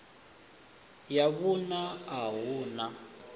ya vhuṋa a hu na